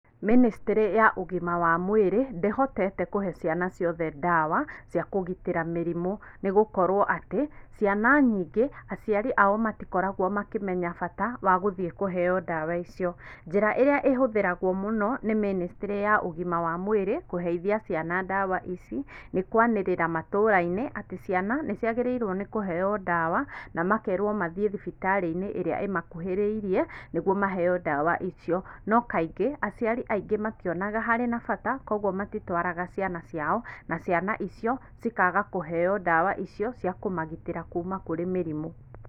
ministry ya ũgima wa mwĩrĩ ndĩhotete kũhe ciana ciothe ndawa cia kũgitĩra mĩrimũ, nĩgũkorwo atĩ, ciana nyingĩ, aciari ao matikoragwo makĩmenya bata wa gũthiĩ kũheyo ndawa icio, njĩra ĩrĩa ĩhũthĩragwo mũno nĩ ministry ya ũgima wa mwĩrĩ kũheithia ciana ndawa ici, nĩ kwanĩrĩra matũra - inĩ, atĩ ciana nĩ ciagĩrĩirwo nĩ kũheyo ndawa, na makerwo mathiĩ thibitarĩnĩ ĩrĩa ĩmakuhĩrĩrie, nĩ guo maheyo ndawa icio, no kaingĩ, aciari aingĩ mationaga harĩ na bata, kwoguo matitwaraga ciana ciao, na ciana icio cikaga kũheyo ndawa icio, cĩa kũmagitĩra kuma kũrĩ mĩrimũ.